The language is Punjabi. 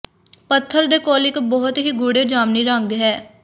ਪੱਥਰ ਦੇ ਕੋਲ ਇਕ ਬਹੁਤ ਹੀ ਗੂੜ੍ਹੇ ਜਾਮਨੀ ਰੰਗ ਹੈ